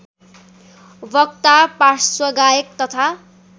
वक्ता पार्श्वगायक तथा